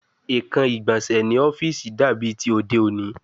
Ekan igbonse ni ọfiisi dabi ti ode oni